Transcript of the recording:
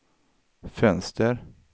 fönster